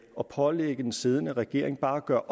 at pålægge den siddende regering bare at gøre